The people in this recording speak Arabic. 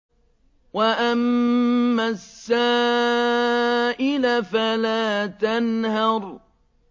وَأَمَّا السَّائِلَ فَلَا تَنْهَرْ